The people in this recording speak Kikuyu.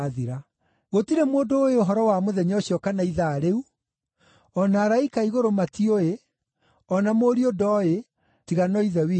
“Gũtirĩ mũndũ ũũĩ ũhoro wa mũthenya ũcio kana ithaa rĩu, o na araika a igũrũ matiũĩ, o na Mũriũ ndooĩ, tiga no Ithe wiki.